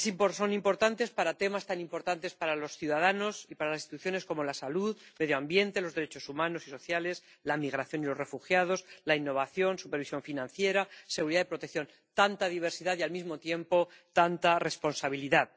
Son importantes para temas tan importantes para los ciudadanos y para las instituciones como la salud, el medio ambiente, los derechos humanos y sociales, la migración y los refugiados, la innovación, la supervisión financiera, la seguridad y la protección. Tanta diversidad y, al mismo tiempo, tanta responsabilidad.